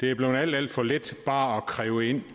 det er blevet alt alt for let bare at kræve ind